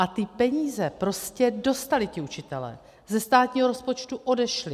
A ty peníze prostě dostali ti učitelé, ze státního rozpočtu odešly.